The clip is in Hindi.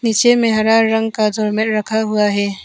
पीछे में हरा रंग का थर्मल रखा हुआ है।